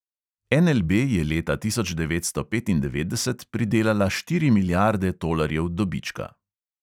NLB je leta tisoč devetsto petindevetdeset pridelala štiri milijarde tolarjev dobička.